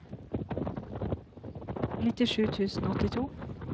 nittisju tusen og åttito